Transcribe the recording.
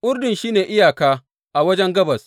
Urdun shi ne iyaka a wajen gabas.